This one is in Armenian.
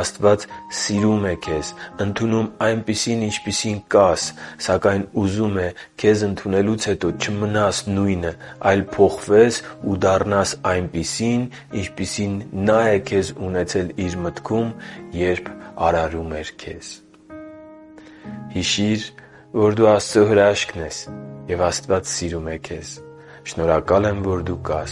Աստված սիրում է քեզ, ընդունում այնպիսին, ինչպիսին կաս, սակայն ուզում է քեզ ընդունելուց հետո չմնաս նույնը, այլ փոխվես ու դառնաս այնպիսին, ինչպիսին Նա է քեզ ունեցել Իր մտքում, երբ արարել է քեզ․․․ Հիշի՛ր, որ դու Աստծո հրաշքն ես, և Աստված սիրում է քեզ։ Շնորհակալ եմ, որ դու կա